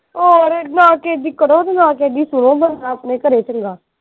ਹੋਰ ਨਾ ਕਿਸੇ ਦੀ ਕਰੋ ਨਾ ਕਿਸੇ ਦੀ ਸੁਣੋ ਬੰਦਾ ਆਪਣੇ ਘਰੇ ਚੰਗਾ।